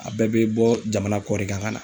A bɛɛ bɛ bɔ jamana kɔ de kan ka na.